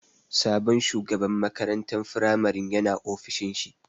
Sabon shugaban makarantan firamarin ya na ofishin shi